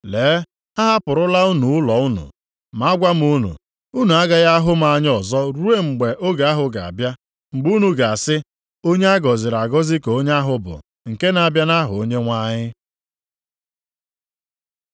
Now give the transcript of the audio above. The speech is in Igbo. Lee, a hapụrụla unu ụlọ unu. Ma agwa m unu, unu agaghị ahụ m anya ọzọ ruo mgbe oge ahụ ga-abịa, mgbe unu ga-asị, ‘Onye a gọziri agọzi ka onye ahụ bụ nke na-abịa nʼaha Onyenwe anyị.’ + 13:35 \+xt Abụ 118:26\+xt* ”